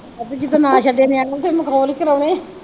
ਹਾਂ ਵੀ ਜਦੋਂ ਨਾ ਛੱਡੇੇ ਨਿਆਣੇ ਤੇ ਮਖੋਲ ਕਰਵਾਉਣੇ